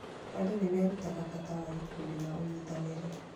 Andũ nĩ merutaga bata wa gĩkundi na ũnyitanĩri.